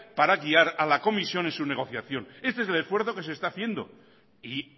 para guiar a la comisión en su negociación este es el esfuerzo que se está haciendo y